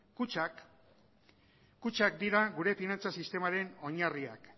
kutxak dira gure finantza sistemaren oinarriak